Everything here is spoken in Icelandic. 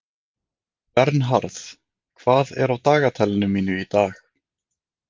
Vernharð, hvað er á dagatalinu mínu í dag?